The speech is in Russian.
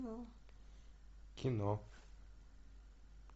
кино